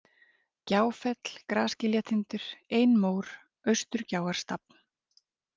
Gjáfell, Grasgiljatindur, Einmór, Austurgjáarstafn